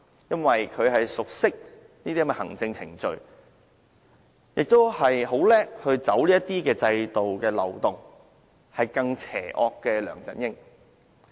由於她熟悉這些行政程序，亦精於走制度漏洞，因此較梁振英更為邪惡。